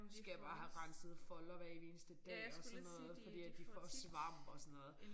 Skal jeg bare have renset folder hver evig eneste dag og sådan noget fordi at de får svamp og sådan noget